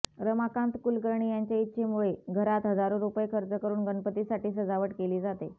रमाकांत कुलकर्णी यांच्या इच्छेमुळे घरात हजारो रुपये खर्च करून गणपतीसाठी सजावट केली जाते